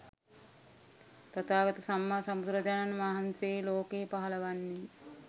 තථාගත සම්මා සම්බුදුරජාණන් වහන්සේ ලෝකයේ පහළ වන්නේ